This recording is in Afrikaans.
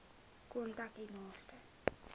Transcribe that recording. kontak u naaste